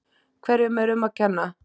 Hverju er um að kenna?